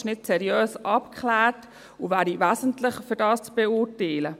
Es ist nicht seriös abgeklärt, und das wäre wesentlich, um das zu beurteilen.